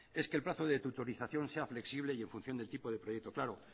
es que el plazo de tutorización sea flexible y en función del tipo de proyecto claro